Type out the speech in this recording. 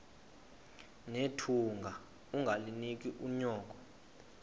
nethunga ungalinik unyoko